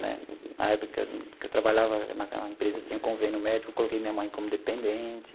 Né na época que eu que eu trabalhava naquela empresa, tinha convênio médico, coloquei minha mãe como dependente.